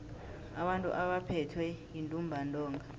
abantu abaphethwe yintumbantonga